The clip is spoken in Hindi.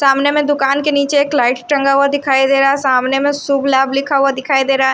सामने में दुकान के नीचे एक लाइट टंगा हुआ दिखाई दे रहा है सामने में शुभ-लाभ लिखा हुआ दिखाई दे रा है।